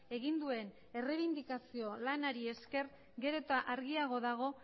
egin duen errebindikazio lanari esker gero eta argiago dago